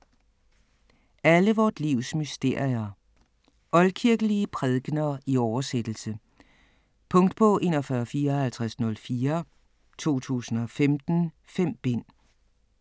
Alle vort livs mysterier Oldkirkelige prædikener i oversættelse. Punktbog 415404 2015. 5 bind.